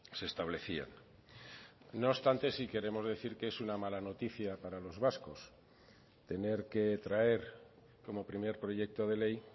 se establecían no obstante sí queremos decir que es una mala noticia para los vascos tener que traer como primer proyecto de ley